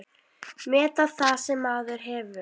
Meta það sem maður hefur.